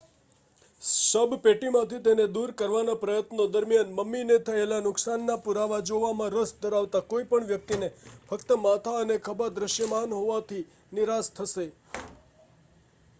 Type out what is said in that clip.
શબપેટીમાંથી તેને દૂર કરવાના પ્રયત્નો દરમિયાન મમ્મીને થયેલા નુકસાનના પુરાવા જોવામાં રસ ધરાવતા કોઈપણ વ્યક્તિ ફક્ત માથા અને ખભા દૃશ્યમાન હોવાથી નિરાશ થશે